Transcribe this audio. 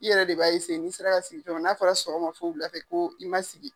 I yɛrɛ de b'a n'i sera ka sigi cogo min na n'a fɔra sɔgɔma fo wula fɛ ko i ma sigi.